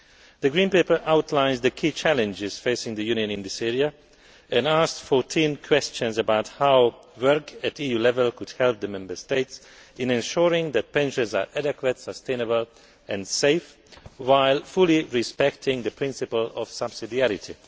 The Green Paper outlines the key challenges facing the Union in this area, and asked fourteen questions about how work at EU level could help the Member States in ensuring that pensions are adequate, sustainable and safe, while fully respecting the principle of subsidiarity.